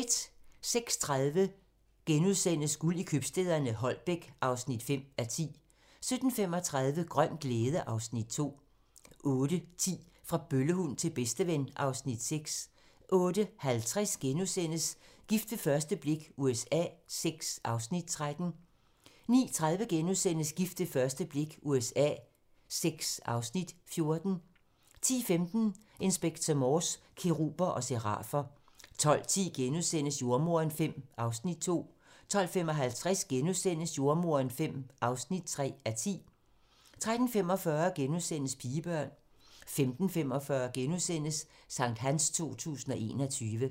06:30: Guld i købstæderne - Holbæk (5:10)* 07:35: Grøn glæde (Afs. 2) 08:10: Fra bøllehund til bedsteven (Afs. 6) 08:50: Gift ved første blik USA VI (Afs. 13)* 09:30: Gift ved første blik USA VI (Afs. 14)* 10:15: Inspector Morse: Keruber og serafer 12:10: Jordemoderen V (2:10)* 12:55: Jordemoderen V (3:10)* 13:45: Pigebørn * 15:45: Sankthans 2021 *